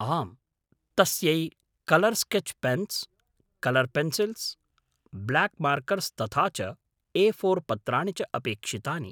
आम्, तस्यै colour sketch pens, colour pencils, black markers तथा च ए फोर् पत्राणि च अपेक्षितानि।